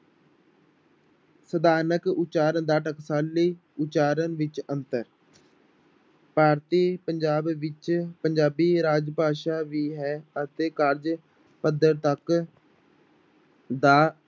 ਸਥਾਨਕ ਉਚਾਰ ਦਾ ਟਕਸਾਲੀ ਉਚਾਰਨ ਵਿੱਚ ਅੰਤਰ ਭਾਰਤੀ ਪੰਜਾਬ ਵਿੱਚ ਪੰਜਾਬੀ ਰਾਜ ਭਾਸ਼ਾ ਵੀ ਹੈ ਅਤੇ ਕਾਰਜ ਪੱਧਰ ਤੱਕ ਦਾ